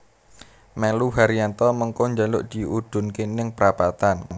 Melu Haryanto mengko njaluk diudhunke ning prapatan